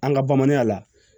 An ka bamananya la